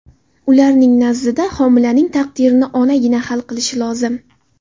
Ularning nazdida, homilaning taqdirini onagina hal qilishi lozim.